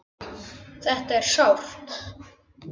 Þetta er sárt.